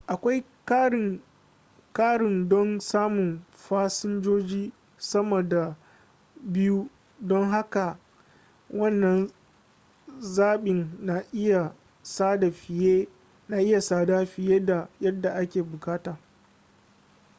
akwai ƙarin don samun fasinjoji sama da 2 don haka wannan zaɓin na iya tsada fiye da yadda ake buƙata